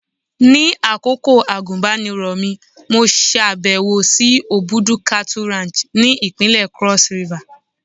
Ní àkókò àgùnbánirọ̀ mi, mo ṣàbẹ̀wò sí Obudu cattle Ranch ni ìpínlẹ̀ Cross River.